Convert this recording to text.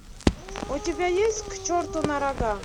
у тебя есть к черту на рога